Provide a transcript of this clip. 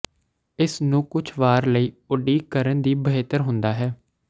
ਇਸ ਨੂੰ ਕੁਝ ਵਾਰ ਲਈ ਉਡੀਕ ਕਰਨ ਦੀ ਬਿਹਤਰ ਹੁੰਦਾ ਹੈ